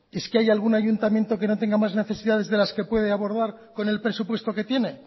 es que hay algún ayuntamiento que no tenga más necesidades de las que puede abordar con el presupuesto que tiene